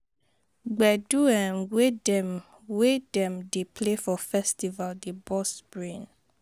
Gbedu um wey dem wey dem dey play for festival dey burst brain